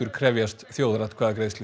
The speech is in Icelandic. krefjast þjóðaratkvæðagreiðslu